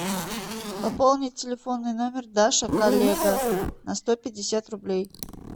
пополнить телефонный номер даша коллега на сто пятьдесят рублей